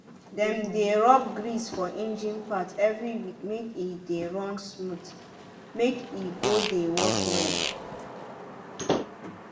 dem dey rub grease for engine part every week make e dey run smooth make e go de work well.